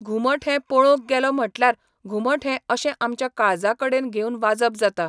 घुमट हें पळोवूंक गेलो म्हटल्यार घुमट हें अशें आमच्या काळजा कडेन घेवन वाजप जाता.